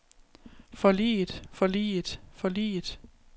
forliget forliget forliget